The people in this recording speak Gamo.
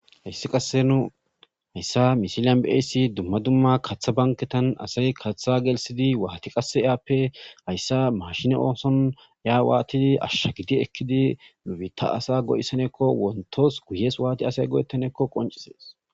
Heyssi qasse nu hayssa mishilan beeyssi dumma dumma kaththa banketan asay kaththa gelsidi waati qasse aappe hayssa mashine ooson ya waatidi ashshagidi ekkidi nubitta asa go'essaneekko wontos guyees waati asay go'ettaneekko qoncisees.